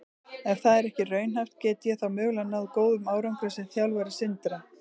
Ef það er ekki raunhæft, get ég þá mögulega náð góðum árangri sem þjálfari Sindra?